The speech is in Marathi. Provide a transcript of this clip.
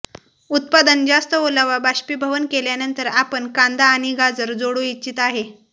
उत्पादन जास्त ओलावा बाष्पीभवन केल्यानंतर आपण कांदा आणि गाजर जोडू इच्छित आहे